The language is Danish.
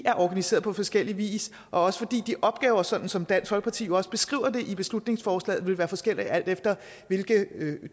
er organiseret på forskellig vis og fordi de opgaver sådan som dansk folkeparti jo også beskriver det i beslutningsforslaget vil være forskellige alt efter hvilke